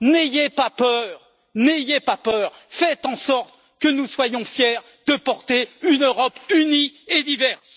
N'ayez pas peur, n'ayez pas peur, faites en sorte que nous soyons fiers de porter une Europe unie et diverse.